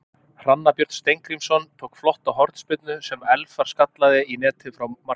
Hrannar Björn Steingrímsson tók flotta hornspyrnu sem Elfar skallaði í netið frá markteig.